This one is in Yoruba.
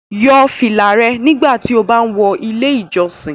Yọ fila rẹ nigbati o ba wọ ile ijọsin